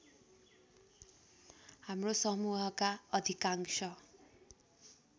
हाम्रो समूहका अधिकांश